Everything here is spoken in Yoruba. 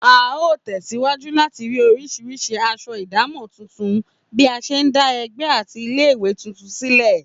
A óò tè̩síwájú láti rí orís̩irís̩i as̩o̩ ìdámò̩ tuntun bí a s̩e ń dá e̩gbé̩ àti ilé-ìwé tuntun sílè̩